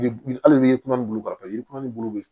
Yiri hali yiri kuman bulu ka ca yiri kumanin bulu bɛ